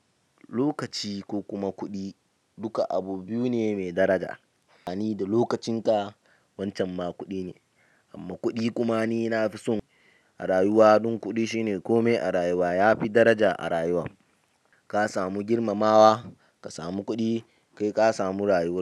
Lokaci ko kuma kuɗi, duka abu biyu ne mai daraja. Ah ni da lokacin ka, wancan ma kuɗi ne. Amma kuɗi kuma ni na fi son a rayuwa don kuɗi shine komai a rayuwa yafi daraja a rayuwan. Ka samu girmamawa, ka samu kuɗi kai ka samu rayuwa.